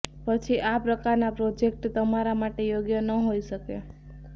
પછી આ પ્રકારના પ્રોજેક્ટ તમારા માટે યોગ્ય ન હોઇ શકે